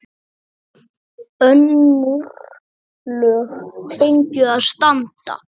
Önnur lög fengju að standa.